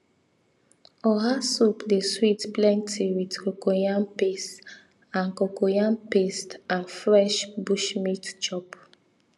oha soup dey sweet plenty with cocoyam paste and cocoyam paste and fresh bushmeat chop